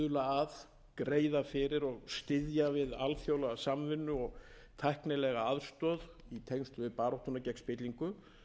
að greiða fyrir og styðja við alþjóðlega samvinnu og tæknilega aðstoð í tengslum við baráttuna gegn spillingu